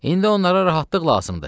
İndi onlara rahatlıq lazımdır.